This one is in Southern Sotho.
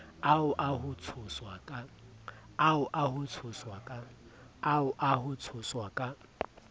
ao a ho tshoswa ka